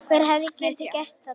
Hver hefði getað gert þetta?